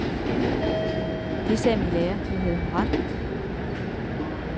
Det sagde min lærer, men havde hun ret?